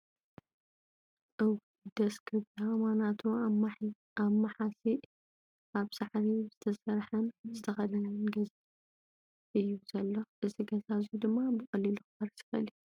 እውይ ! ደስ ክብላ ማናቱ ኣማሓሲእ ኣብ ብሳዕሪ ዝተሰርሐን ዝተከደንን ገዛ እዩ ዘሎ እዚ ገዛ እዙይ ድማ ብቀሊሉ ኽፈርስ ይኽእል እዩ።